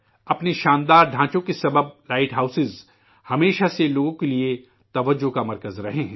اپنی شاندار تعمیر کے سبب لائٹ ہاؤس ہمیشہ سے لوگوں کی توجہ کا مرکز رہے ہیں